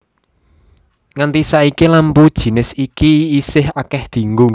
Nganti saiki lampu jinis iki isih akéh dienggo